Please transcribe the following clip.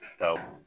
Taa